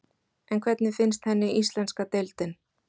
En hvernig finnst henni íslenska deildin?